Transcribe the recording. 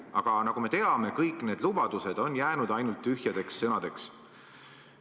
Aga nagu me teame, kõik need lubadused on jäänud ainult tühjadeks sõnadeks.